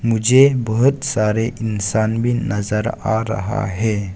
मुझे बहुत सारे इंसान भी नजर आ रहा है।